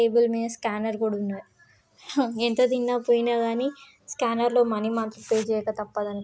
And table మీద scanner కూడా ఉన్నది ఎంత తిన్న పోయిన కానీ స్కానర్ లో మనీ మాత్రం పే చేయక తప్పదండి.